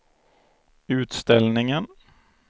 utställningen